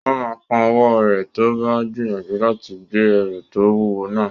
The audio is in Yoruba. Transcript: Ó máa kán ọwọ́ rẹ̀ tó bá gbìyànjú láti gbé ẹrù tó wúwo náà